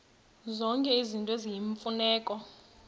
zonke izinto eziyimfuneko